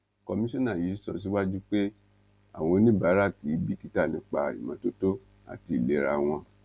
kọmísánà yìí sọ síwájú pé àwọn oníbàárà kì í bìkítà nípa ìmọtótó àti ìlera wọn